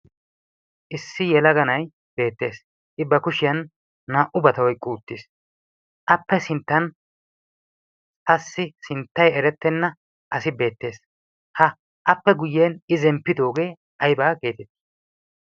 Issi yelaga na'ay beettees. I ba kushiyan naa"ubata oyiqqi uttiis. Appe sinttan qassi sinttay erettenna asi beettees. Ha appe guyyen i zemppidoogee ayibaa geetettii?